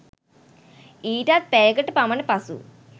ඊටත් පැයකට පමණ පසු